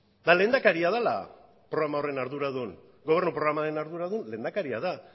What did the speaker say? eta lehendakaria dela programa horren arduradun gobernuko programaren arduradun lehendakaria da